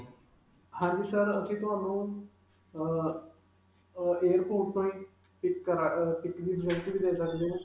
ਹਾਂਜੀ sir, ਅਸੀਂ ਤੁਹਾਨੂੰ ਅਅ ਅਅ airport ਤੋਂ ਹੀ pick ਅਅ pick ਦੀ facility ਵੀ ਦੇ ਸਕਦੇ ਹਾਂ.